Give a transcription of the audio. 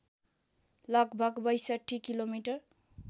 लगभग ६२ किलोमिटर